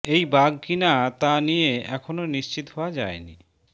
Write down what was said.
এই বাঘ কিনা তা নিয়ে এখনও নিশ্চিত হওয়া যায়নি